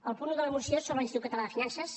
el punt un de la moció sobre l’institut català de finances